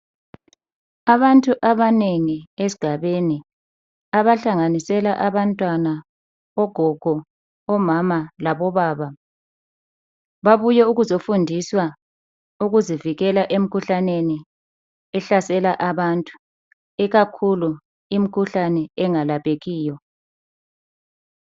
Abantu abanengi esigabeni abahlanganisela abantwanana ogogo omama labobaba, babuye ukuzofundiswa ukuzivikela emkhuhlaneni ehlasela abantu, ikakhulu imkhuhlane engalaphekiyo.